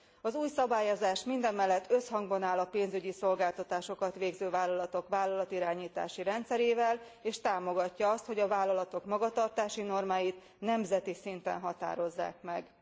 Az új szabályozás mindamellett összhangban áll a pénzügyi szolgáltatásokat végző vállalatok vállalatirányítási rendszerével, és támogatja azt, hogy a vállalatok magatartási normáit nemzeti szinten határozzák meg.